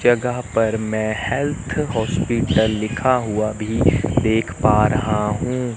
जगह पर मैं हेल्थ हॉस्पिटल लिखा हुआ भी देख पा रहा हूं।